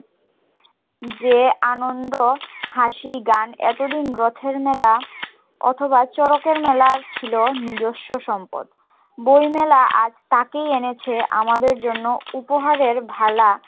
যে আনন্দ হাসি গান এতদিন রথের মেলা অথবা চরকের মেলা ছিল নিজস্য সম্পদ বই মেলা আজ তাকেই এনেছে আমাদের জন্য উপহারের ভালা